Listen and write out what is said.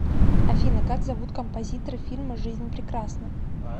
афина как зовут композитора фильма жизнь прекрасна